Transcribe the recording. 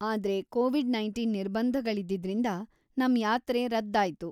ಆದ್ರೆ ಕೋವಿಡ್‌-ನೈನ್ಟಿನ್ ನಿರ್ಬಂಧಗಳಿದ್ದಿದ್ರಿಂದ ನಮ್ ಯಾತ್ರೆ ರದ್ದಾಯ್ತು.